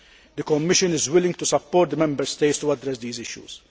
The Commission is willing to support the Member States to address these issues.